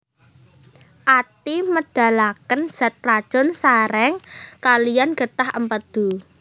Ati médhalakén zat racun saréng kaliyan gétah Émpédu